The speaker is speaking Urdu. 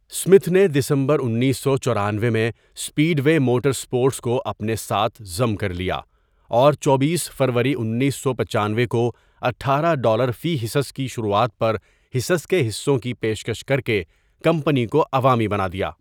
اسمتھ نے دسمبر انیسو چورانوے میں اسپیڈ وے موٹر اسپورٹس کو اپنے ساتھ ضم کر لیا، اور چوبیس فروری انیسو پچانوے کو اٹھارہ ڈالر فی حصص کی شروعات پر حصص کے حصوں کی پیشکش کر کے کمپنی کو عوامی بنا دیا۔